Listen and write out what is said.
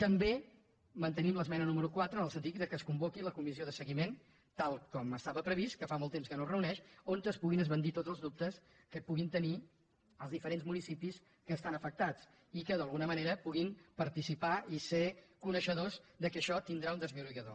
també mantenim l’esmena número quatre en el sentit que es convoqui la comissió de seguiment tal com estava previst que fa molt temps que no es reuneix on es puguin esbandir tots els dubtes que puguin tenir els diferents municipis que estan afectats i que d’alguna manera puguin participar i ser coneixedors que això tindrà un desllorigador